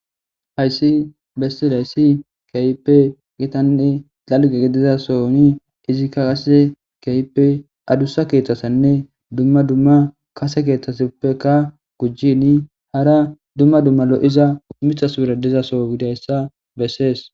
hayssi bessi layssi kayppe gitanne xalge gedizasoni izikka qase keyppe adussa keeththasanne dumma dumma kase keeththasappeka gujjini hara dumma dumma lo7iza mithas piradizaso gidayssa bessees